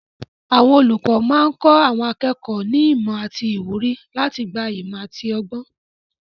Àwọn olùkọ́ máa ń kọ́ àwọn akẹ́kọ̀ọ́ ní ìmọ̀ àti ìwúrí láti gba ìmọ̀ àti ọgbọ́n.